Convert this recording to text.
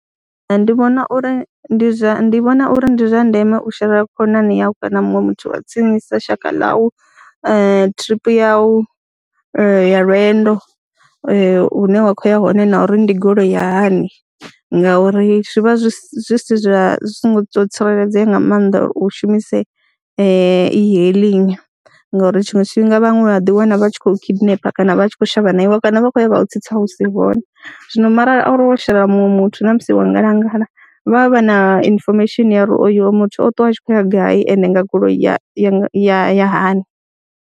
Ndi vhona uri ndi zwa ndi vhona uri ndi zwa ndeme u sherela khonani yau kana muṅwe muthu wa tsinisa shaka ḽau thiripi yau ya lwendo hune wa khou ya hone na uri ndi goloi ya hani ngauri zwi vha zwi si zwa zwi songo tou tsireledzea nga maanḓa uri u shumise e-hailing ngauri tshiṅwe tshifhinga vhaṅwe vha ḓiwana vha tshi khou kidnap kana vha tshi khou shavha na iwe, kana vha khou ya vha u tsitsa hu si hone. Zwino mara arali wo sherela muṅwe muthu na musi wa ngalangala vha vha vha na information ya uri oyo muthu o ṱuwa a tshi khou ya gai ende nga goloi ya ya ya ya hani.